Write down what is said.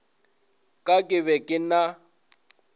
ka ke be ke na